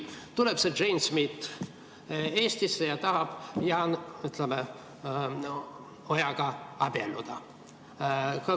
Tuleb see Jane Smith Eestisse ja tahab, ütleme, Jaan Ojaga abielluda.